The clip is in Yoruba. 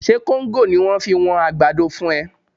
Ṣe kóńgò ni wọ́n fi wọn àgbàdo fún ẹ?